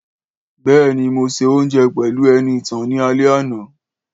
Béèni, mo se òunjẹ pẹlu Enìtàn ni alẹ́ àná.